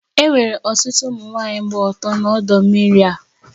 E nwere ọtụtụ ụmụ nwanyị gba ọtọ na ọdọ mmiri a